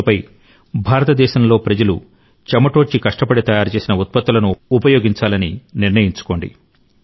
ఇకపై భారతదేశంలో ప్రజలు చెమటోడ్చి కష్టపడి తయారుచేసిన ఉత్పత్తులను ఉపయోగించాలని నిర్ణయించుకోండి